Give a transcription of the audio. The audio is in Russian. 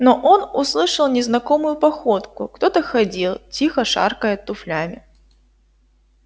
но он услышал незнакомую походку кто-то ходил тихо шаркая туфлями